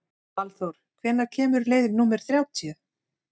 Valþór, hvenær kemur leið númer þrjátíu?